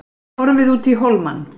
Horfið út í hólmann.